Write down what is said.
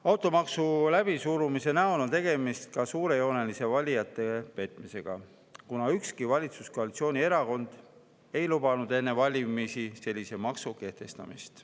Automaksu läbisurumise näol on tegemist suurejoonelise valijate petmisega, kuna ükski valitsuskoalitsiooni erakond ei lubanud enne valimisi sellise maksu kehtestamist.